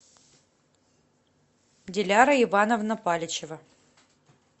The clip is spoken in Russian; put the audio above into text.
диляра ивановна паличева